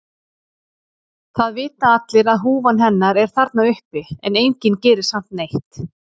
Það vita allir að húfan hennar er þarna uppi en enginn gerir samt neitt.